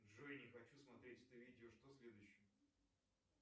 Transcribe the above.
джой не хочу смотреть это видео что следующее